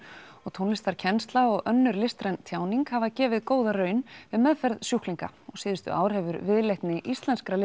tónlistarkennsla og önnur listræn tjáning hafa gefið góða raun við meðferð sjúklinga og síðustu ár hefur viðleitni íslenskra